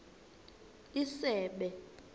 isebe